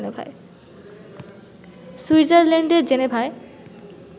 সুইজারল্যান্ডের জেনেভায়